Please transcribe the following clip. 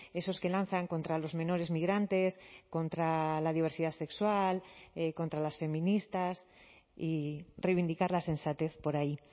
esos que lanzan contra los menores migrantes contra la diversidad sexual contra las feministas y reivindicar la sensatez por ahí